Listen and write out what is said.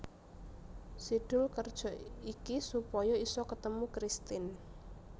Si Doel kerja iki supaya isa ketemu Kristin